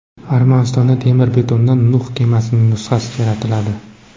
Armanistonda temir-betondan Nuh kemasining nusxasi yaratiladi.